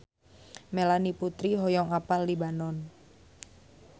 Melanie Putri hoyong apal Libanon